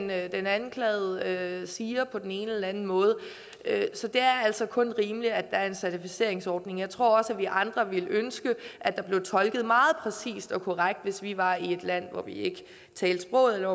hvad den anklagede siger på den ene eller anden måde så det er altså kun rimeligt at der er en certificeringsordning jeg tror også at vi andre ville ønske at der blev tolket meget præcist og korrekt hvis vi var i et land hvor vi ikke talte sproget eller